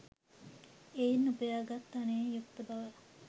එයින් උපයා ගත් ධනයෙන් යුක්ත බව